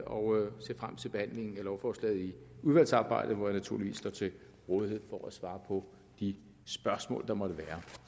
og ser frem til behandlingen af lovforslaget i udvalgsarbejdet hvor jeg naturligvis står til rådighed for at svare på de spørgsmål der måtte